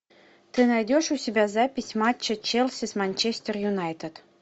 ты найдешь у себя запись матча челси с манчестер юнайтед